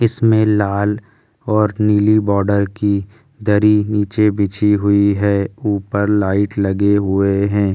इसमें लाल और नीली बॉर्डर की दरी नीचे बिछी हुई है ऊपर लाइट लगे हुए है ।